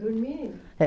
Dormir? É